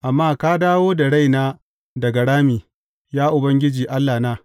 Amma ka dawo da raina daga rami, Ya Ubangiji Allahna.